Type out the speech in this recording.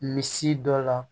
Misi dɔ la